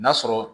N'a sɔrɔ